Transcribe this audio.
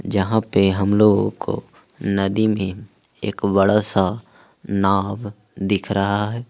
जहां पर हम लोगों को नदी में एक बड़ा सा नाव दिख रहा है।